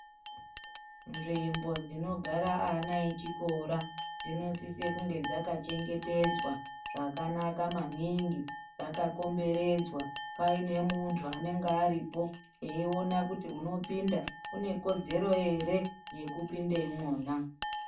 Nzvimbo dzinogare ana echikora dzinosise kunge dzakachengetedzwa zvakanaka maningi vakakomberedzwa pave nemuntu unenga aripo eiona kuti unopinda une kodzero ere Yekupinde imwona.